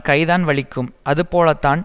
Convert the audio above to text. கைதான் வலிக்கும் அது போலத்தான்